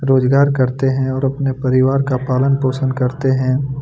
रोजगार करते है और अपने परिवार का पालन पोषण करते हैं।